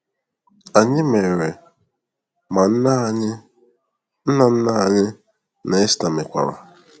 Anyi mere, ma Nne anyi, Nna Nna anyị na Esther mekwara.